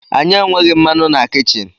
Anyị enweghị mmanụ na kichin